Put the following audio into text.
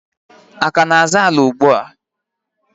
a ka na-azọ ala ugbua?